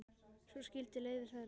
Svo skildi leiðir þeirra.